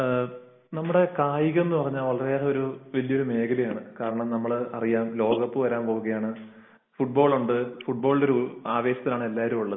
നമ്മുടെ കായികം എന്ന് പറഞ്ഞാൽ വളരെയേറെ വലിയ ഒരു മേഖലയാണ് കാരണം ലോകകപ്പ് വരാൻ പോകയാണ്. ഫുട്ബാളിന്റെ ഒരു ആവേശത്തലിനാണ് എല്ലാവരും ഉള്ളത്